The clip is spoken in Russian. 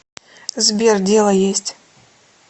сбер дело есть